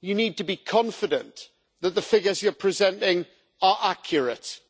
you need to be confident that the figures you're presenting are accurate,